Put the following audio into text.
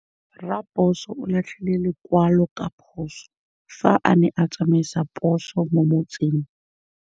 Raposo o latlhie lekwalô ka phosô fa a ne a tsamaisa poso mo motseng.